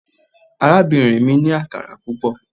Arabinrin mi ni akara pupọ